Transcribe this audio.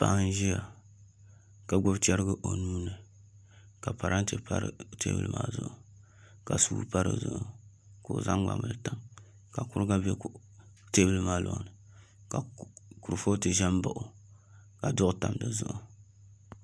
Paɣa n ʒiya ka gbubi chɛrigi o nuuni ka parantɛ pa teebuli zuɣu ka suu pa dizuɣu ka o zaŋ gbambili tam ka kuriga bɛ teebuli maa loŋni ka kurifooti ʒɛ n baɣa o ka duɣu tam dizuɣu